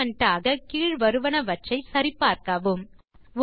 assignment ஆக கீழ் வருவனவற்றை சரி பார்க்கவும்